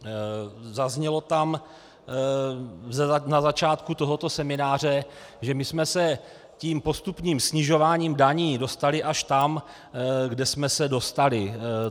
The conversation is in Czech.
Zaznělo tam na začátku tohoto semináře, že my jsme se tím postupným snižováním daní dostali až tam, kam jsme se dostali.